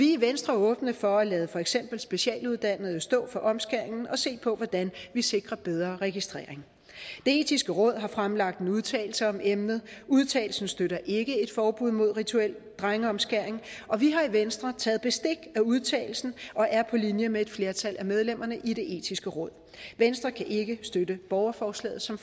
i venstre åbne for at lade for eksempel specialuddannede stå for omskæringen og se på hvordan vi sikrer bedre registrering det etiske råd har fremlagt en udtalelse om emnet udtalelsen støtter ikke et forbud mod rituel drengeomskæring og vi har i venstre taget bestik af udtalelsen og er på linje med et flertal af medlemmerne i det etiske råd venstre kan ikke støtte borgerforslaget som